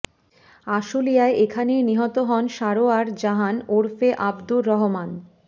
আশুলিয়ায় এখানেই নিহত হন সারোয়ার জাহান ওরফে আব্দুর রহমান